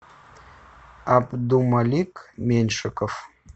абдумалик меньшиков